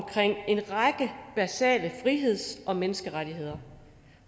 række basale friheds og menneskerettigheder